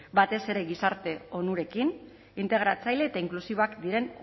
batez ere gizarte onurekin integratzaile eta inklusiboak diren